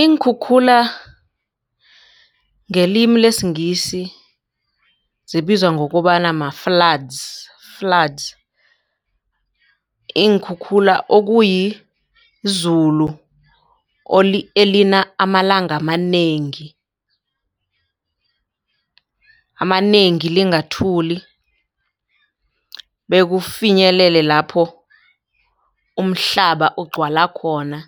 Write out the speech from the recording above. Iinkhukhula ngelimi lesiNgisi zibizwa ngokobana ma-floods flood. Iinkhukhula okuyizulu elina amalanga amanengi amanengi lingathuli bekufinyelele lapho umhlaba ugcwala khona.